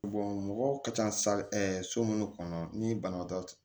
mɔgɔw ka ca so minnu kɔnɔ ni banabaatɔ